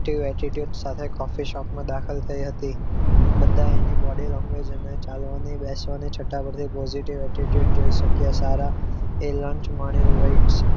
Attitude સાથે coffee shop માં દાખલ થઈ હતી બધા એને body language અને ચાલવાની બેસવાની છટા પરથી positive attitude જોઈ શક્યા સારા એ લંચ માણ્યું wait